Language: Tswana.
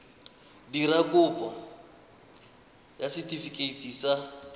dira kopo ya setefikeiti sa